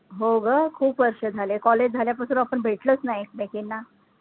हो ग खूप वर्ष झाले college झाल्यापासून आपण भेटलोच नाही ऐकमेकींना